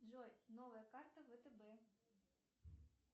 джой новая карта втб